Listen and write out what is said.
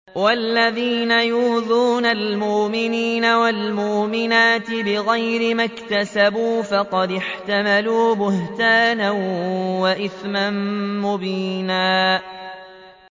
وَالَّذِينَ يُؤْذُونَ الْمُؤْمِنِينَ وَالْمُؤْمِنَاتِ بِغَيْرِ مَا اكْتَسَبُوا فَقَدِ احْتَمَلُوا بُهْتَانًا وَإِثْمًا مُّبِينًا